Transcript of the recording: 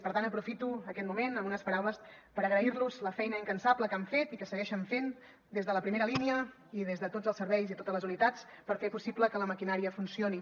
per tant aprofito aquest moment amb unes paraules per agrairlos la feina incansable que han fet i que segueixen fent des de la primera línia i des de tots els serveis i totes les unitats per fer possible que la maquinària funcioni